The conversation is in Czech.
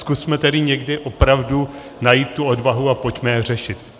Zkusme tedy někdy opravdu najít tu odvahu a pojďme je řešit.